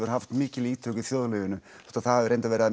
haft mikil ítök í þjóðlífinu þótt það hafi verið að